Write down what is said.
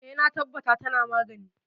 E, na tabbata tana magani.